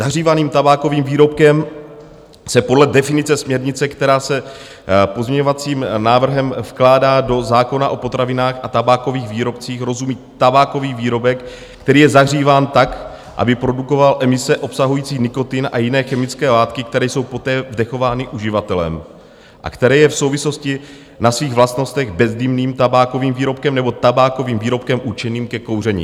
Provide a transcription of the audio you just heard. Zahřívaným tabákovým výrobkem se podle definice směrnice, která se pozměňovacím návrhem vkládá do zákona o potravinách a tabákových výrobcích, rozumí tabákový výrobek, který je zahříván tak, aby produkoval emise obsahující nikotin a jiné chemické látky, které jsou poté vdechovány uživatelem a které je v souvislosti na svých vlastnostech bezdýmným tabákovým výrobkem nebo tabákovým výrobkem určeným ke kouření.